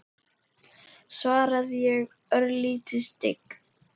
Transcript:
svaraði ég, örlítið stygg.